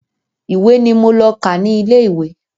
Ìwé ni mo lọ kà ní ilé ìwé.